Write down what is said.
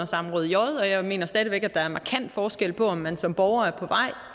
samråd j og jeg mener stadig væk at der er markant forskel på om man som borger